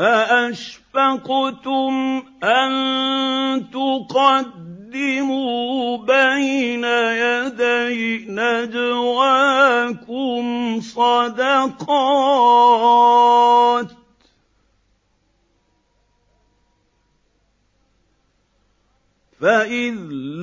أَأَشْفَقْتُمْ أَن تُقَدِّمُوا بَيْنَ يَدَيْ نَجْوَاكُمْ صَدَقَاتٍ ۚ فَإِذْ